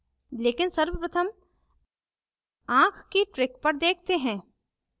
लेकिन सर्वप्रथम आँख की trick पर देखते हैं